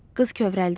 Qız kövrəldi.